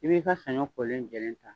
I b'i ka sanɲɔ kolen jɛlɛn ta